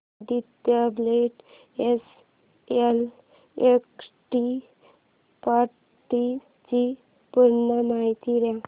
Aditya Birla SL equity fund D ची पूर्ण माहिती दे